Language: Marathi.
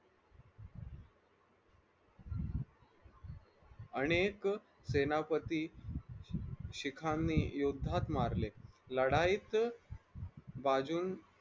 अनेक सेनापती शिखांनी योद्धात मारले लढाईत बाजून